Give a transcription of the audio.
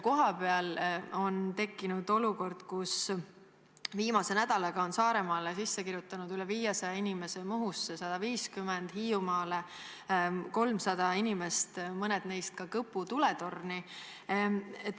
Kohapeal on tekkinud olukord, kus viimase nädalaga on end Saaremaale sisse kirjutanud üle 500 inimese, Muhusse 150, Hiiumaale 300 inimest, mõned neist Kõpu tuletorni.